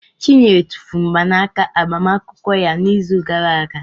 Chinyere tụfuru mgbanaka agbamakwụkwọ ya n'izu gara aga.